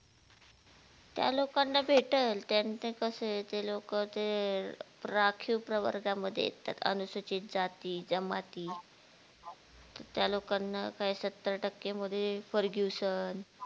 त्या लोकांना भेटेल, त्याचं कसाय ते लोक ते राखीव प्रवर्गमध्ये येतात, अनुसूचित जाती जमाती त्या लोकांना काय सत्तर टाक्यांमध्ये FERGUSON